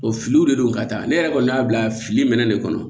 O filiw de don ka taa ne yɛrɛ kɔni y'a bila fili minɛn de kɔnɔ